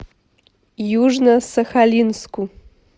южно сахалинску